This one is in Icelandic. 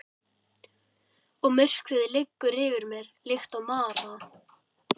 Og myrkrið liggur yfir mér líkt og mara.